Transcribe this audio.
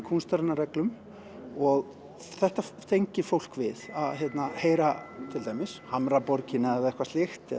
kúnstarinnar reglum og þetta tengir fólk við að heyra til dæmis Hamraborgina eða eitthvað slíkt